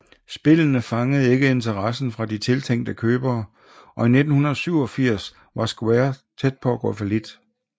Spillene fangede ikke interessen fra de tiltænkte købere og i 1987 var Square tæt på at gå fallit